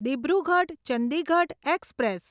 Dibrugarh Chandigarh express